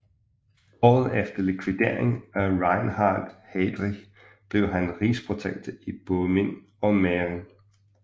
Året efter likvideringen af Reinhard Heydrich blev han rigsprotektor i Böhmen og Mähren